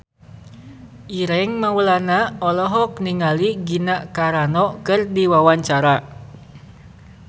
Ireng Maulana olohok ningali Gina Carano keur diwawancara